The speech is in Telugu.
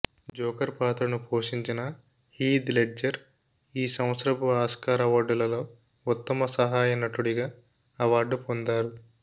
జోకర్ పాత్రను పోషించిన హీథ్ లెడ్జర్ ఆ సంవత్సరపు ఆస్కార్ అవార్డులలో ఉత్తమ సహాయ నటుడిగా అవార్డు పొందారు